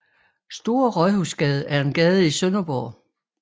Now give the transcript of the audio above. Store Rådhusgade er en gade i Sønderborg